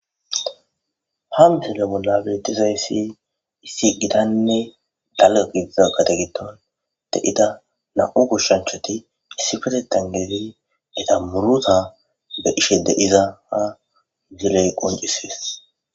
ha msile bolla bettizayssi issi giatnne dalaga giza gade giton de7ida na7u goshshanchoti issi fatetan geeti eta muruta de ishe deizaa ziley